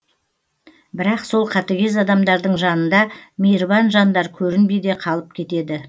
бірақ сол қатыгез адамдардың жанында мейірбан жандар көрінбей де қалып кетеді